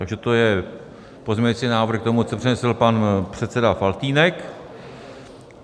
Takže to je pozměňující návrh k tomu, co přednesl pan předseda Faltýnek.